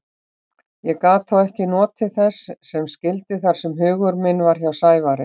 Ég gat þó ekki notið þess sem skyldi þar sem hugur minn var hjá Sævari.